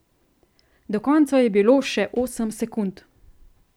Do konca je bilo še osem sekund.